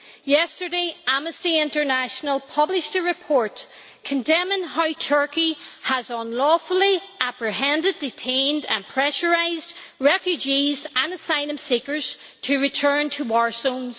Yesterday, Amnesty International published a report condemning how Turkey has unlawfully apprehended, detained and pressurised refugees and asylum seekers to return to war zones.